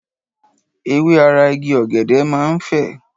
Ewé ara Igi ọ̀gẹ̀dẹ̀ máa ń fè.